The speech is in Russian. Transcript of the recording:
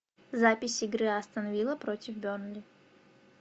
запись игры астон вилла против бернли